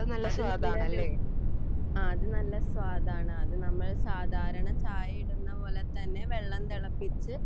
അതെ അത് നല്ലൊരു സ്വാദാണ് അത് നമ്മളെ സാധാരണ ചായ ഇടുന്നതുപോലെതന്നെ വെള്ളം തിളപ്പിച്ച്